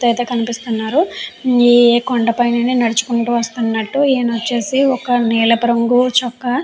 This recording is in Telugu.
వ్యక్తి అయితే కనిపిస్తున్నారు. ఈ కొండపైనే నడుచుకుంటూ వస్తున్నట్లు ఈయన వచ్చేసి ఒక నీలపు రంగు చుక్క --